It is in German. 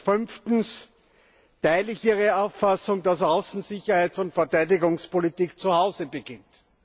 Fünftens teile ich Ihre Auffassung, dass Außen Sicherheits und Verteidigungspolitik zu Hause beginnt.